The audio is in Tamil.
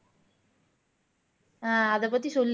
அஹ் அதப் பத்தி சொல்லு